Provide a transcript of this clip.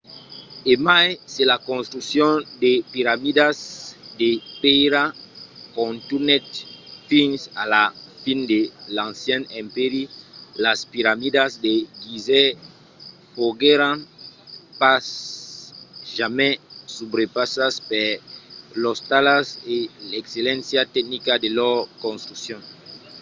e mai se la construccion de piramidas de pèira contunhèt fins a la fin de l'ancian empèri las piramidas de gizeh foguèron pas jamai subrepassadas per lors talhas e l’excelléncia tecnica de lor construccion